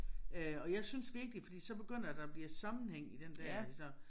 Øh og jeg synes virkelig fordi så begynder der at blive sammenhæng i den der så